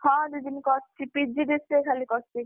ହଁ, ଦିଦି ମୁଁ କରିଛି PGDCA ଖାଲି କରିଛି।